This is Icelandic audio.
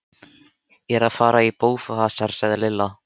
Ég er að fara í bófahasar sagði Lilla.